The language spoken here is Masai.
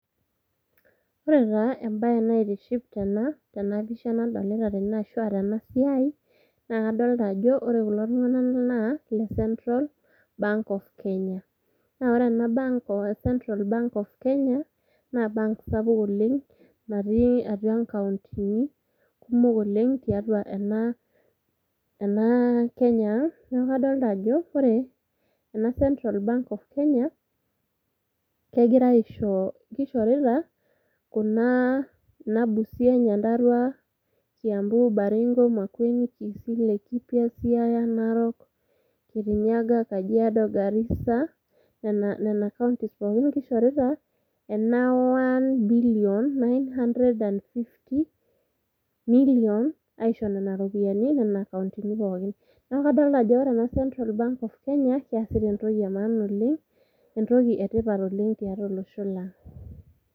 ore taa embae naaitiship tena pisha nadolita tene ashua tenasiai, naa kadolita ajo ore kulo tung'anak naa ile central bank of kenya naa ore ena bank , central bank of kenya naa embeki sapuk oleng' nattii atua inkauntini kumok oleng' tiatua ena Kenya ang' neaku kadolita ajo ore ena [centra bank of kenya keishorita kuna kauntini ee [cs Busia, Nyandarua ,Kiambu, Baringo ,Makueni, Kisii, Laikipia, Siaya, Narok, Kirinyaga, Kajiado Garisa nena kauntini pookin keishorita ena 1,950,000,000 aisho nena ropiyiani aisho nena kauntini ppokin. neaku kadolita ena central bank of Kenya easita entoki ee maana oleng' entoki ee tipat oleng' tiatua olosho lang'.